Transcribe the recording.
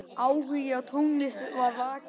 Áhugi á tónlist var vakinn.